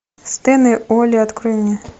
стэн и олли открой мне